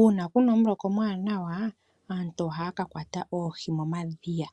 Uuna puna omuloka omwaanawa aantu ohaya kakwata oohi momadhiya.